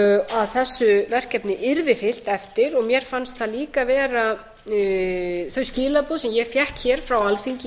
að þessu verkefni yrði fylgt eftir og mér fannst það líka vera þau skilaboð sem ég fékk frá alþingi